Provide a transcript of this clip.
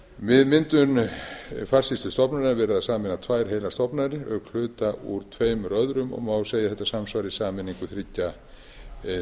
við myndun farsýslustofnun er verið að sameina tvær heilar stofnanir auk hluta úr tveimur öðrum má segja að þetta samsvari sameiningu þriggja